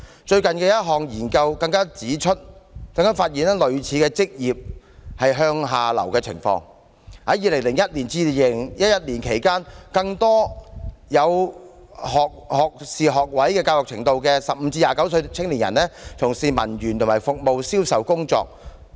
最近的一項研究亦發現類似的職業向下流動情況，在2001至2011年期間，更多具有學位教育程度的15至29歲青年從事文員及服務/銷售工作。